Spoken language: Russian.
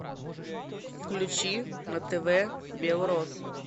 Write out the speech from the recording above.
включи на тв белрос